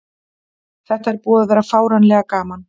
Þetta er búið að vera fáránlega gaman.